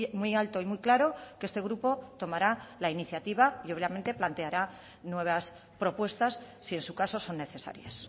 muy alto y muy claro que este grupo tomara la iniciativa y obviamente planteará nuevas propuestas si en su caso son necesarias